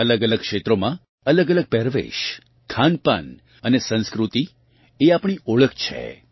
અલગઅલગ ક્ષેત્રોમાં અલગઅલગ પહેરવેશ ખાનપાન અને સંસ્કૃતિએ આપણી ઓળખ છે